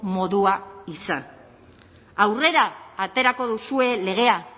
modua izan aurrera aterako duzue legea